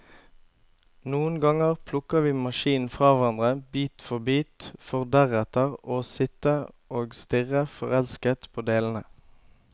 Noen ganger plukker vi maskinen fra hverandre, bit for bit, for deretter å sitte og stirre forelsket på delene.